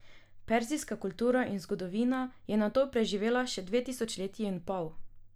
Perzijska kultura in zgodovina je nato preživela še dve tisočletji in pol.